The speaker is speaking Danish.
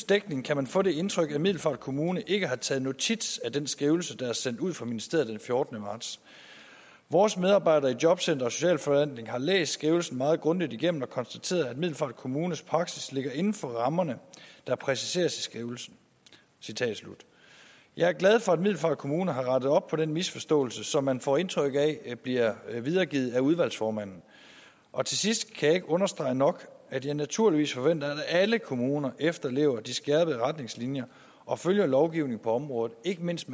dækning kan man få det indtryk at middelfart kommune ikke har taget notits af den skrivelse der er sendt ud fra ministeriet den fjortende marts vores medarbejdere i jobcenteret og socialforvaltningen har læst skrivelsen meget grundigt igennem og konstateret at middelfart kommunes praksis ligger inden for rammerne der præciseres i skrivelsen jeg er glad for at middelfart kommune har rettet op på den misforståelse som man får indtryk af bliver videregivet af udvalgsformanden og til sidst kan jeg ikke understrege nok at jeg naturligvis forventer at alle kommuner efterlever de skærpede retningslinjer og følger lovgivningen på området ikke mindst